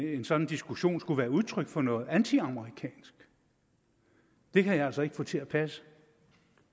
en sådan diskussion skulle være udtryk for noget antiamerikansk det kan jeg altså ikke få til at passe